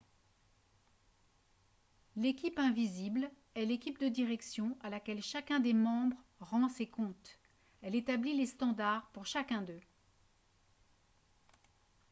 l'« équipe invisible » est l'équipe de direction à laquelle chacun des membres rend ses comptes. elle établit les standards pour chaque d'eux